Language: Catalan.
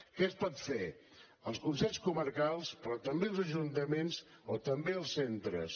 què es pot fer els consells comarcals però també els ajuntaments o també els centres